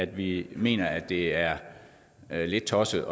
vi mener at det er lidt tosset